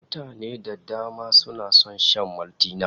Mutane da dama suna son shan Maltina